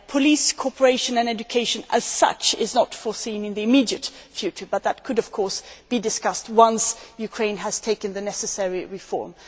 Police cooperation and education as such are not foreseen in the immediate future but that could, of course, be discussed once Ukraine has carried out the necessary reforms.